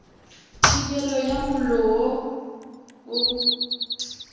thibelo ya mollo wo o